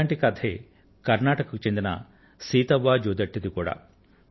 ఇటువంటి కథే కర్నాటక కు చెందిన సితావా జోదత్తి ది కూడా